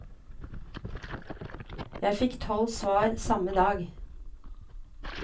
Jeg fikk tolv svar, samme dag.